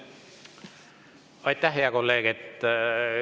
Aitäh, hea kolleeg!